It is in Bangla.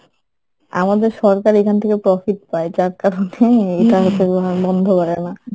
আমাদের সরকার এখান থেকে profit পায় যার কারণেই এইটা হচ্ছে তোমার বন্ধ করে না